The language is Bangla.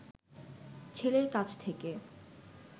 ছেলের কাছ থেকে